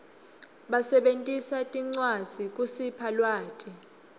basebentisa tincwadzi kusipha lwati